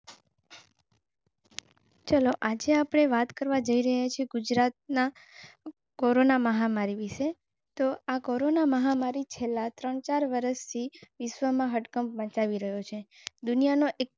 ચલો આજે આપણે વાત કરવા જઈ રહ્યા છે. ગુજરાતમાં કોરોના મહામારી તો આ કોરોના મહામારી છેલ્લા thirty-four વર્ષે વિશ્વમાં હડકંપ મચાવી રહ્યો છે. દુનિયાના એક.